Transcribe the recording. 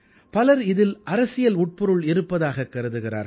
பலர் இதில் அரசியல் உட்பொருள் இருப்பதாக கருதுகிறார்கள்